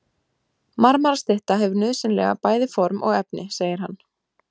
Marmarastytta hefur nauðsynlega bæði form og efni, segir hann.